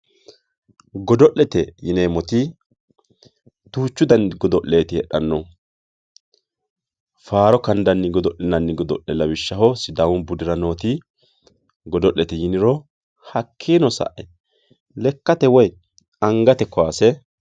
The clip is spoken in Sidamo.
godo'lete yineemmoti duuchu dani godo'leeti heedhannohu faaro kandanni godo'linanni godo'le lawishshaho sidaamu budira nooti godo'lete yiniro hakkiino sae lekkate woyi angate kaase.